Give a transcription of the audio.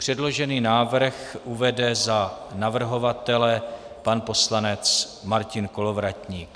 Předložený návrh uvede za navrhovatele pan poslanec Martin Kolovratník.